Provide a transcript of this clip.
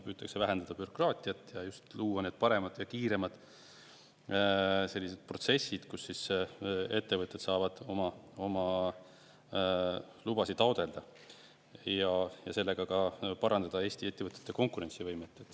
Püütakse vähendada bürokraatiat, luua paremad ja kiiremad sellised protsessid, kus ettevõtted saavad oma lubasid taotleda, ja sellega ka parandada Eesti ettevõtete konkurentsivõimet.